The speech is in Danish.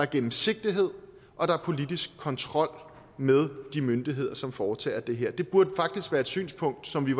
gennemsigtighed og politisk kontrol med de myndigheder som foretager det her det burde faktisk være et synspunkt som vi